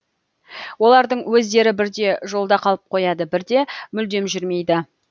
олардың өздері бірде жолда қалып қояды бірде мүлдем жүрмейді